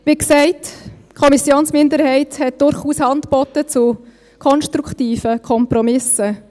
Wie gesagt: Die Kommissionsminderheit hat durchaus Hand geboten zu konstruktiven Kompromissen.